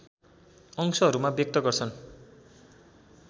अंशहरूमा व्यक्त गर्छन्